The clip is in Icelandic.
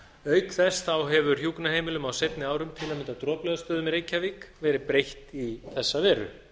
auk þess hefur hjúkrunarheimilum á seinni árum til að mynda á droplaugarstöðum í reykjavík verið breytt í þessa veru